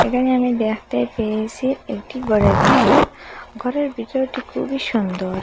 এখানে আমি দ্যাখতে পেয়েসি একটি গরের বিতর ঘরের বিছানাটি খুবই সুন্দর।